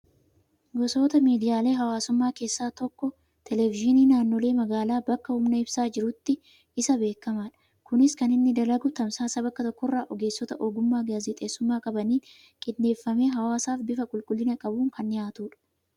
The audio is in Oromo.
Gosoota miidiyaalee hawaasummaa keessaa televizyiiniin naannoolee magaalaa bakka humni ibsaa jirutti, isa beekamaadha. Innis kan inni dalagu, tamsaasa bakka tokko irraa ogeessota ogummaa gaazexeessummaa qabaniin qindeeffamee hawaasaaf bifa qulqulliina qabuun kan dhihaatudha.